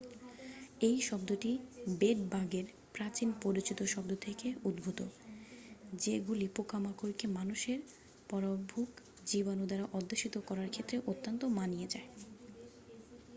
এই শব্দটি বেড-বাগের প্রাচীন পরিচিতি শব্দ থেকে উদ্ভূত যেগুলিপোকামাকড়কে মানুষের পরভুক জীবাণুদ্বারা অধ্যুষিত করার ক্ষেত্রে অত্যন্ত মানিয়ে যায়